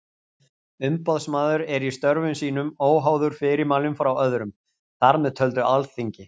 Umboðsmaður er í störfum sínum óháður fyrirmælum frá öðrum, þar með töldu Alþingi.